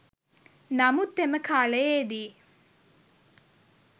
නමුත් එම කාලයේදී